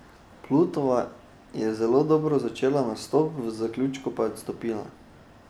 Plutova je zelo dobro začela nastop, v zaključku pa je odstopila.